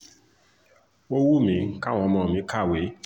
ó wù mí káwọn ọmọ mi kàwéè